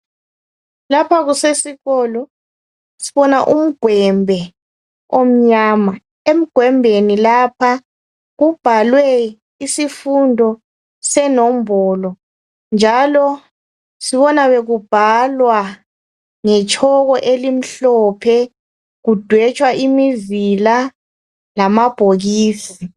Lapha kusesikolo sibona umgwembe omnyama. Emgwembeni lapha kubhalwe isifundo senombolo njalo sibona bekubhalwa ngetshoko elimhlophe kudwetshwa imizila lama bhokisi.